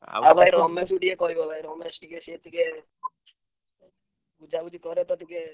ଆଉ ଭାଇ ରମେଶକୁ ଟିକେ କହିବ ଭାଇ ରମେଶ ଟିକେ ସିଏ ଟିକେ ବୁଝାବୁଝି କରେ ତ ଟିକେ।